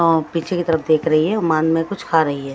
पीछे की तरफ देख रही है उमान में कुछ खा रही है।